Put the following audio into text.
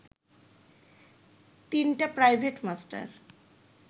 তিনটা private master